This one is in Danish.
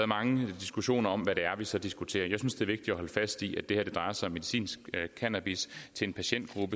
mange diskussioner om hvad det er vi så diskuterer jeg synes det er vigtigt at holde fast i at det her drejer sig om medicinsk cannabis til en patientgruppe